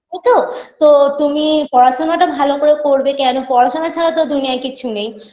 তাইতো তো তুমি পড়াশোনাটা ভালো করে করবে কেন পড়াশোনা ছাড়া তো দুনিয়ায় কিচ্ছু নেই